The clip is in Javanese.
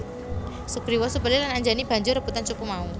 Sugriwa Subali lan Anjani banjur rebutan cupu mau